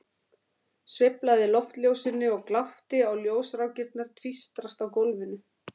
Sveiflaði loftljósinu og glápti á ljósrákirnar tvístrast á gólfinu.